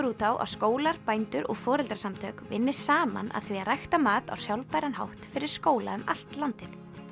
út á að skólar bændur og foreldrasamtök vinni saman að því að rækta mat á sjálfbæran hátt fyrir skóla um allt landið